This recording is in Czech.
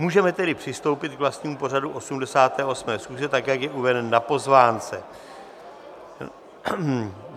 Můžeme tedy přistoupit k vlastnímu pořadu 88. schůze, tak jak je uveden na pozvánce.